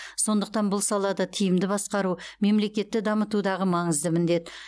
сондықтан бұл салада тиімді басқару мемлекетті дамытудағы маңызды міндет